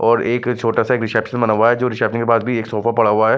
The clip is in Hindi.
और एक छोटा-सा एक रिसेप्शन बना हुआ है जो रिसेप्शन के पास भी एक सोफा पड़ा हुआ है।